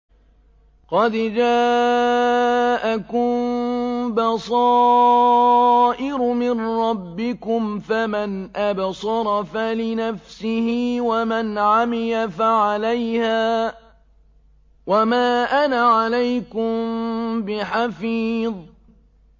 قَدْ جَاءَكُم بَصَائِرُ مِن رَّبِّكُمْ ۖ فَمَنْ أَبْصَرَ فَلِنَفْسِهِ ۖ وَمَنْ عَمِيَ فَعَلَيْهَا ۚ وَمَا أَنَا عَلَيْكُم بِحَفِيظٍ